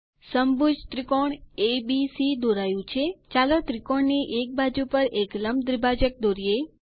સમભુજ ત્રિકોણ એબીસી દોરાયું છે ચાલો ત્રિકોણ ની એક બાજુ પર એક લંબ દ્વિભાજક દોરીએ